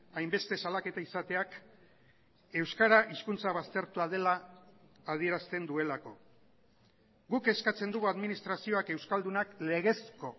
hainbeste salaketa izateak euskara hizkuntza baztertua dela adierazten duelako guk eskatzen dugu administrazioak euskaldunak legezko